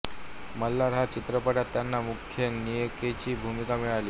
मल्हार या चित्रपटात त्यांना मुख्य नायिकेची भूमिका मिळाली